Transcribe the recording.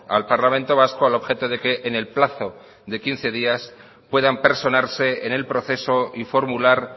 al parlamento vasco al objeto de que en el plazo de quince días puedan personarse en el proceso y formular